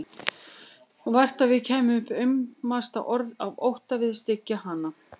Og vart að við kæmum upp aumasta orði af ótta við að styggja hana.